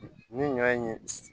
Ni ɲɔ in ye